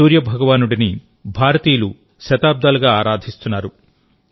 సూర్య భగవానుడిని భారతీయులకు శతాబ్దాలుగా ఆరాధిస్తున్నారు